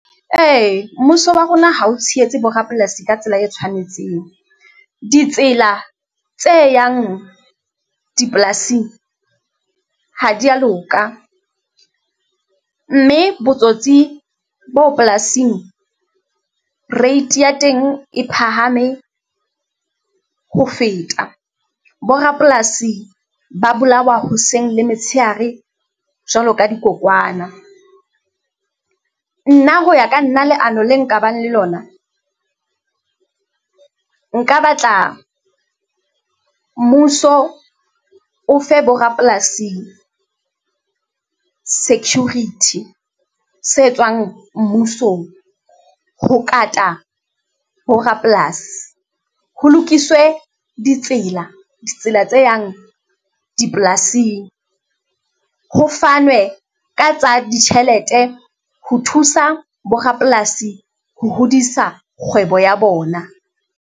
Ee, mmuso wa rona ha o tshehetse bo rapolasi ka tsela e tshwanetseng, ditsela tse yang dipolasing ha di ya loka mme botsotsi bo polasing, rate ya teng e phahame ho feta. Bo rapolasi ba bolawa hoseng le metshehare jwalo ka dikokwana. Nna ho ya ka nna leano le nkabang le lona, nka batla mmuso o fe bo rapolasing security se tswang mmusong. Ho kata bo rapolasi ho lokiswe ditsela, ditsela tse yang dipolasing, ho fanwe ka tsa ditjhelete ho thusa bo rapolasi ho hodisa kgwebo ya bona.